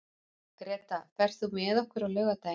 Greta, ferð þú með okkur á laugardaginn?